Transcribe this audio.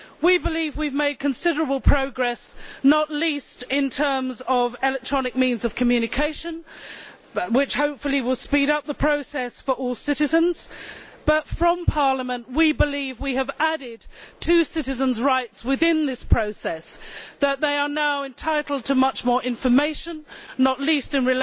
We believe we have made considerable progress, not least in terms of the electronic means of communication, which hopefully will speed up the process for all citizens, but we in Parliament believe that we have added to citizens' rights within this process, that they are now entitled to much more information, not least in